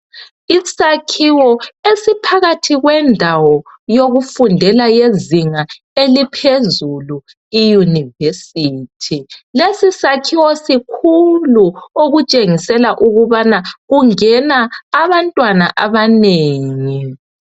Isakhiwo esiphakathi kwendawo yokufundela yezinga eliphezulu iyunivesithi lesi sakhiwo sikhulu okutshengisela ukubana kungena abantwana abanengi.